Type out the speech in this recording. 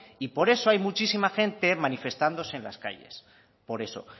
y por eso hay muchísima gente manifestándose en las calles por eso